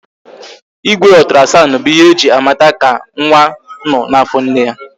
Igwe otrasandu bụ ihe eji a mata ka nwa nọ n'afọ nne ya